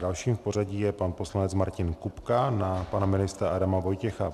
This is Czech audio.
Dalším v pořadí je pan poslanec Martin Kupka na pana ministra Adama Vojtěcha.